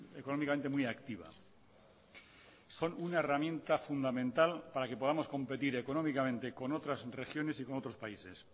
economicamente muy activa son una herramienta fundamental para que podamos competir economicamente con otras regiones y otros países